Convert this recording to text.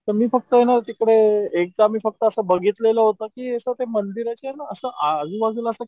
पण मी तिकडे एकदा मी असं फक्त बघितलेलं होतं की असं ते मंदिर आहे आणि आजूबाजूला